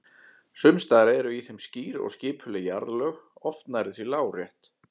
Sums staðar eru í þeim skýr og skipuleg jarðlög, oft nærri því lárétt.